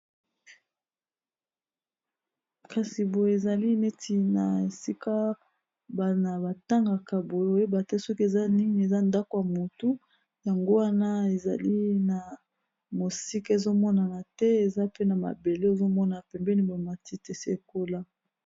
Kasi boye ezali neti na esika bana ba tangaka boye oyeba te soki eza nini eza ndako ya motu yango wana ezali na mosika ezomonana te eza pe na mabele ezomona na pembeni ba matiti esi ekola.